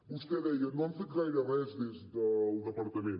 vostè deia no han fet gaire res des del departament